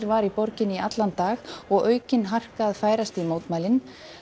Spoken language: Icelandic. var í borginni í allan dag og aukin harka að færast í mótmælin